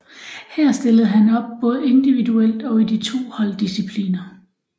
Her stillede han op både individuelt og i de to holddiscipliner